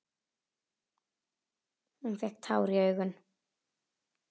Hún fékk tár í augun.